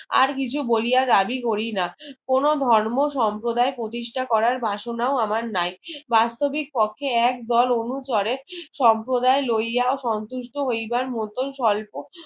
আর কিছু বলিয়া দাবি করিনা কোনো ধর্ম সম্প্রদায় প্রতিষ্ঠ করার বাসনাও আমার নাই বাস্তবিক পক্ষে এক দোল অনুচরের সম্প্রদায় লইয়া সন্তুষ্ট হইবার মতন স্বল্প